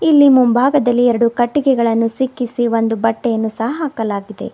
ಇಲ್ಲಿ ಮುಂಭಾಗದಲ್ಲಿ ಎರಡು ಕಟ್ಟಿಗೆಗಳನ್ನು ಸಿಕ್ಕಿಸಿ ಒಂದು ಬಟ್ಟೆಯನ್ನು ಸಹ ಹಾಕಲಾಗಿದೆ.